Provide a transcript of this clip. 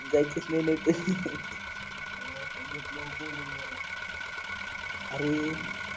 जायचं नाही नाहीतर अरे